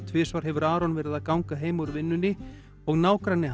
tvisvar hefur Aron verið að ganga heim úr vinnunni og nágranni